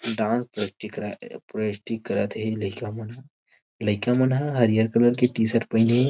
Dance practice करत थे लईका मन ह लइका मन ह हरियर कलर के टीशर्ट पहने हे।